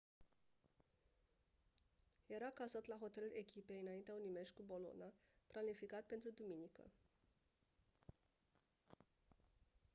era cazat la hotelul echipei înaintea unui meci cu bologna planificat pentru duminică